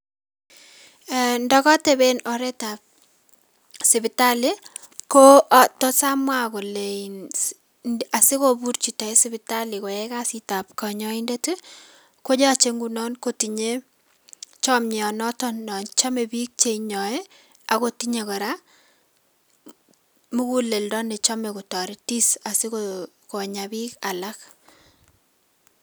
{um] Ndokotepen oretab sipitali ko tos amwa kolein asikobur chito en sipitali koyai kasitab konyoindet ii koyoche ngunon kotinye chomionoton nochome biik cheinyoe ak kotinye kora muguleldo nechome kotoretis asiko konya biik alak.